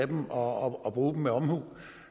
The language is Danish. dem og bruge dem med omhu